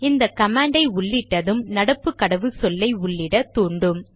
இந்த கமாண்டை உள்ளிட்டது நடப்பு கடவுச்சொல்லை உள்ளிட தூண்டும்